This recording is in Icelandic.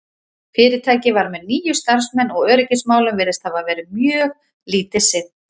fyrirtækið var með níu starfsmenn og öryggismálum virðist hafa verið mjög lítið sinnt